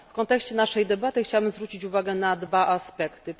W kontekście naszej debaty chciałabym zwrócić uwagę na dwa aspekty.